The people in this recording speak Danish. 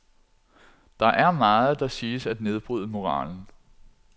Der er meget, der siges at nedbryde moralen.